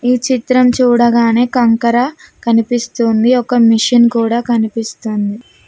ఈ చిత్రం చూడగానే కంకర కనిపిస్తుంది. ఒక మిషన్ కూడా కనిపిస్తుంది.